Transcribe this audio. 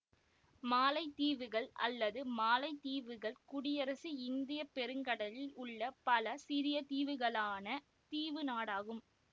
மாலைத்தீவுகள் அல்லது மாலைத்தீவுகள் குடியரசு இந்திய பெருங்கடலில் உள்ள பல சிறிய தீவுகளாலான தீவு நாடாகும்